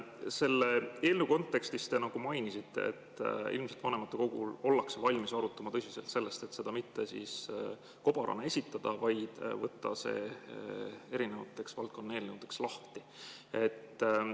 Selle eelnõu kontekstis te nagu mainisite, et ilmselt ollakse vanematekogul valmis arutama tõsiselt seda, et seda mitte kobarana esitada, vaid võtta see valdkonnaeelnõudeks lahti.